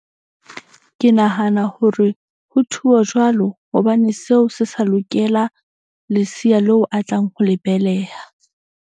Ke nahana hore ho thuwa jwalo. Hobane seo se sa lokela leseya leo a tlang ho le beleha.